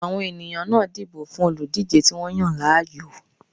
Àwọn èèyàn náà dìbò fún olùdíjé tí wọ́n yàn láàyò